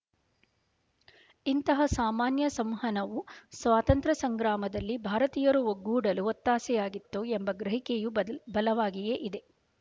ಇಂತಹ ಸಾಮಾನ್ಯ ಸಂವಹನವು ಸ್ವಾತಂತ್ರ್ಯ ಸಂಗ್ರಾಮದಲ್ಲಿ ಭಾರತೀಯರು ಒಗ್ಗೂಡಲು ಒತ್ತಾಸೆಯಾಗಿತ್ತು ಎಂಬ ಗ್ರಹಿಕೆಯೂ ಬದ ಬಲವಾಗಿಯೇ ಇದೆ